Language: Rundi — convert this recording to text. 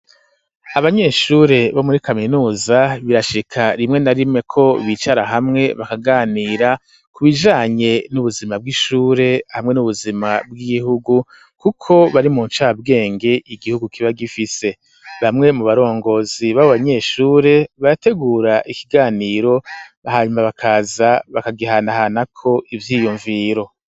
Abanyeshure bo muri kaminuza birashika rimwe na rimwe ko bicara hamwe bakaganira ku bijanye n'ubuzima bw'ishure hamwe n'ubuzima bw'igihugu kuko bari mu ncabwenge igihugu kiba gifise bamwe mu barongozi baba nyeshure barategura ikiganiro hanyuma bakaza bakagihana hanako ivyiyumviro.